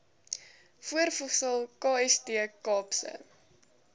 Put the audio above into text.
voorvoegsel kst kaapse